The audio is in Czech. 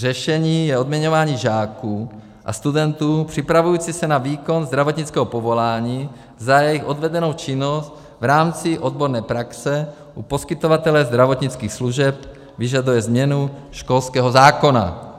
Řešení je odměňování žáků a studentů připravujících se na výkon zdravotnického povolání za jejich odvedenou činnost v rámci odborné praxe u poskytovatele zdravotnických služeb; vyžaduje změnu školského zákona.